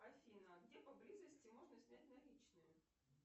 афина где поблизости можно снять наличные